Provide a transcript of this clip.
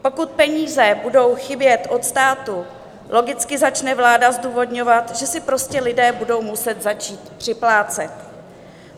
Pokud peníze budou chybět od státu, logicky začne vláda zdůvodňovat, že si prostě lidé budou muset začít připlácet.